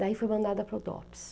Daí foi mandada para o DOPS.